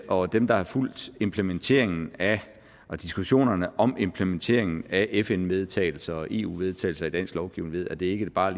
og dem der har fulgt implementeringen af og diskussionerne om implementeringen af fn vedtagelser og eu vedtagelser i dansk lovgivning ved at det ikke bare